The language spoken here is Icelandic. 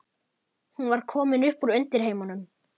Hún var komin upp úr undirheimunum.